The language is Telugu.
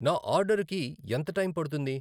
నా ఆర్డరుకి ఎంత టైం పడుతుంది?